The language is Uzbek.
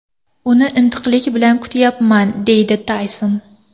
Uni intiqlik bilan kutyapman”, deydi Tayson.